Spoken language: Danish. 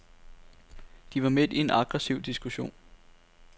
De var midt i en aggressiv diskussion.